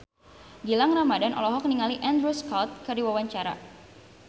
Gilang Ramadan olohok ningali Andrew Scott keur diwawancara